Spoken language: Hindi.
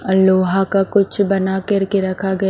आ लोहा का कुछ बना करके रखा ग--